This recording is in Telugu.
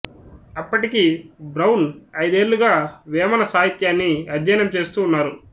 అప్పటికి బ్రౌన్ అయిదేళ్లుగా వేమన సాహిత్యాన్ని అధ్యయనం చేస్తూ ఉన్నారు